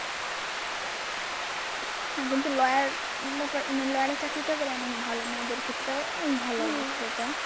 হ্যাঁ কিন্তু lawyer ব্যাপার lawyer এর চাকরিটা অনেক ভালো। মেয়েদের ক্ষেত্রেও অনেক ভালো অবশ্যই এটা